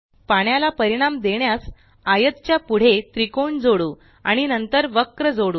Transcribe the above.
पाण्याला परिणाम देण्यास आयत च्या पुढे त्रिकोण जोडू आणि नंतर वक्र जोडू